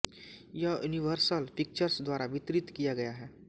यह Universal Pictures द्वारा वितरित किया गया है